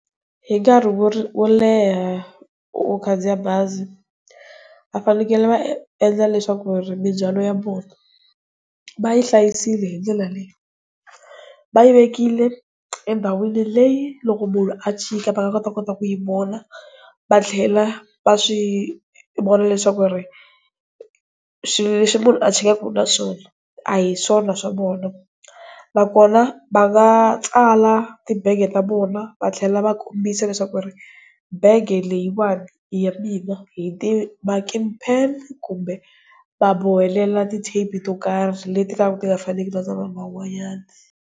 Hi nkarhi wo leha u khandziya bazi, va fanekele va endla leswaku ri mindzwalo ya vona va yi hlayisile hi ndlela leyi, va yi vekile endhawini leyi loko munhu a chika va nga kota kota kuyi vona. Va tlhela va swi vona leswaku ri swilo leswi munhu a chikaka nawona a hi swona swa vona. Nakona va nga tsala tibege ta vona, va tlhela va kombisa leswaku ri bege leyiwani i ya mina hi ti-marking pen, kumbe va bohela ti-tape to karhi leti ti nga faneki na ta lava van'wanyana.